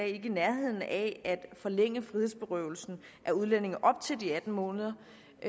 i nærheden af at forlænge frihedsberøvelsen af udlændinge op til de atten måneder